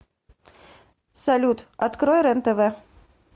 салют открой рен тв